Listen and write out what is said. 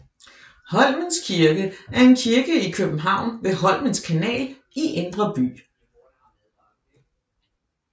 Holmens Kirke er en kirke i København ved Holmens Kanal i Indre By